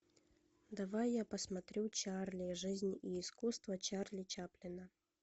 давай я посмотрю чарли жизнь и искусство чарли чаплина